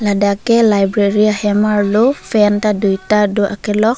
ladak ke library ahem arlo fan ta dui ta do akelok.